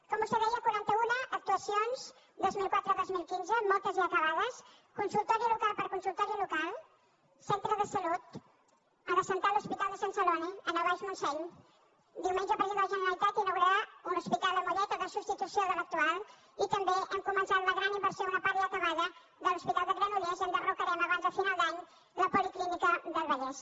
com vostè deia quaranta una actuacions dos mil quatre dos mil quinze moltes ja acabades consultori local per consultori local centre de salut agençar l’hospital de sant celoni en el baix montseny diumenge el president de la generalitat inaugurarà un hospital a mollet o de substitució de l’actual i també hem començat la gran inversió una part ja acabada de l’hospital de granollers i enderrocarem abans de final d’any la policlínica del vallès